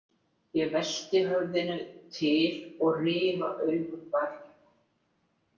Ég velti höfðinu til og rifa augun varlega.